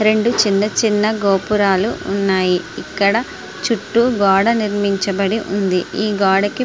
రెండు చిన్న చిన్న గోపురాలు ఉన్నాయి ఇక్కడ చుట్టూ గోడ నిర్మించబడి ఉంది. ఈ గోడకి --